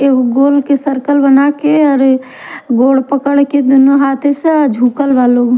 एगो गोल के सर्कल बना के गोड पकड़ के हाथे से और झुकल बा लोग--